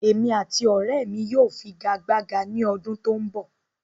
Èmi àti ọrẹ́ mi yóò figagbága ní ọdún tó ń bọ̀